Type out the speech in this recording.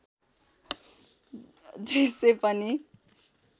दृष्य पनि